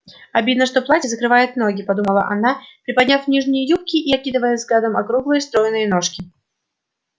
обидно что платье закрывает ноги подумала она приподняв нижние юбки и окидывая взглядом округлые стройные ножки